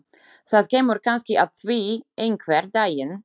Það kemur kannski að því einhvern daginn.